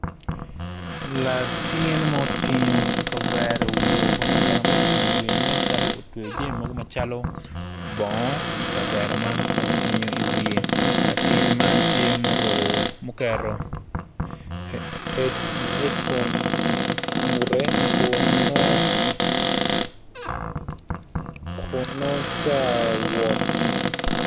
Latin mutingo kavere i wiye kun kavere mutingo i wiye nen calo otingo jami mogo macalo bongo i kavere man kun otingo i wiye latin man tye muruku muketo hedfon ingutte kun nongo ca wot